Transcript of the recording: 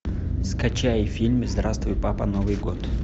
скачай фильм здравствуй папа новый год